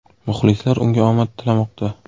Muxlislar unga omad tilamoqda.